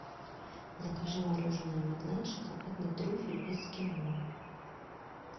закажи мороженое магнат шоколадный трюфель эскимо